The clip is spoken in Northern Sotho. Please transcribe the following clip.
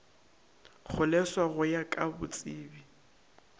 kgoleswa go ya ka botsebi